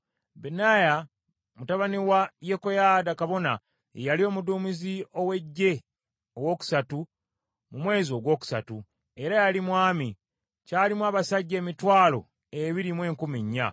Benaya mutabani wa Yekoyaada kabona ye yali omuduumizi ow’eggye owookusatu mu mwezi gwokusatu, era yali mwami. Kyalimu abasajja emitwalo ebiri mu enkumi nnya.